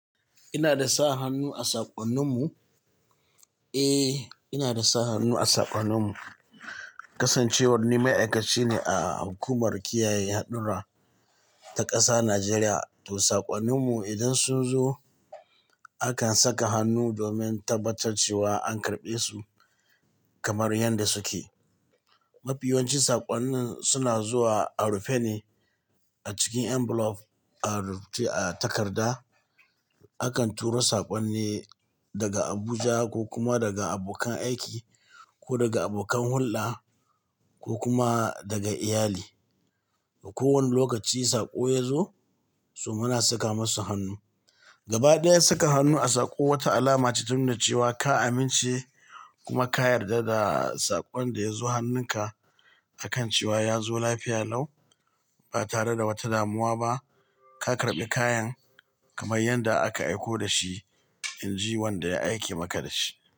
Ina da sa hannu a saƙonninmu? Eh, ina da sa hannu a saƙonninmu. Kasancewar ni ma'aikaci ne a hukumar kiyaye hadurra ta ƙasa Najeriya, to saƙonninmu idan su zo akan saka hannu domin tabbatar cewa an karɓe su kamar yanda suke. Mafi yawancin saƙonnin suna zuwa a rufe ne a cikin envelope a takarda. Akan turo saƙonni daga Abuja ko kuma daga abokan aiki ko daga abokan hulɗa ko kuma daga iyali. A kowane lokaci saƙo ya zo, to muna saka masu hannu. Gaba ɗaya saka hannu a saƙo wata alama ce ta nuna cewa ka amince kuma ka yarda da saƙon da ya zo hannunka a kan cewa ya zo lafiya lau ba tare da wata damuwa ba. Ka karɓi kayan kamar yanda aka aiko da shi, in ji wanda ya aike maka da shi.